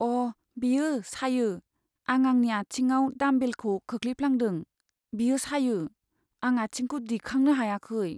अ'! बेयो सायो। आं आंनि आथिंआव डाम्बेलखौ खोलैफ्लांदों, बेयो सायो। आं आथिंखौ दिखांनो हायाखै।